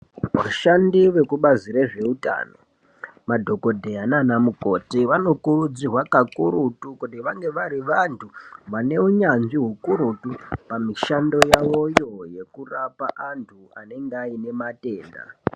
Vashandi vekubazi rezveutano madhokodheya nanamukoti vanokurudzirwa kakurutu kuti vange vari vantu vane hunyanzvi ukurutu pamishando yavoyo yekurapa vantu vanenge vane matenda.